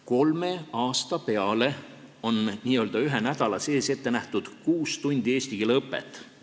Kolme aasta peale on n-ö ühe nädala sees ette nähtud kuus tundi eesti keele õpet .